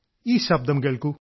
ഈ ശബ്ദം കേൾക്കൂ